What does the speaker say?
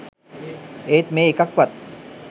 ඒත් මේ එකක්වත්